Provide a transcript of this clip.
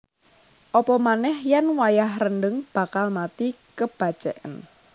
Apamanéh yèn wayah rendheng bakal mati kebaceken